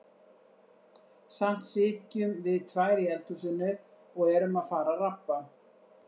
Samt sitjum við tvær í eldhúsinu og erum að fara að rabba.